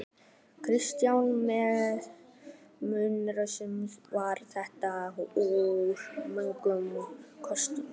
Kristján Már Unnarsson: Var þetta úr mörgum köstum?